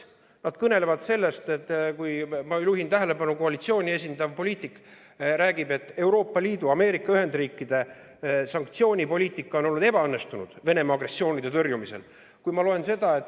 Nad kõnelesid sellest – ma juhin tähelepanu, et seda rääkis koalitsiooni esindav poliitik –, et Euroopa Liidu ja Ameerika Ühendriikide sanktsioonipoliitika on olnud Venemaa agressiooni tõrjumisel ebaõnnestunud.